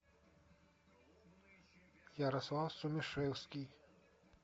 ярослав сумишевский